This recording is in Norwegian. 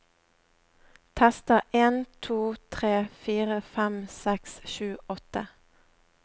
Tester en to tre fire fem seks sju åtte